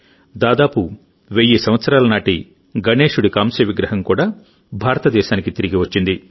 దాదాపు వెయ్యి సంవత్సరాల నాటి గణేశుడి కాంస్య విగ్రహం కూడా భారతదేశానికి తిరిగి వచ్చింది